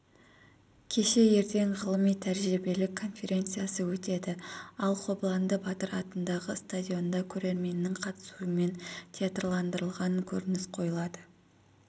кеше ертең ғылыми-тәжірибелік конференциясы өтеді ал қобыланды батыр атындағы стадионда көрерменнің қатысуымен театрландырылған көрініс қойылады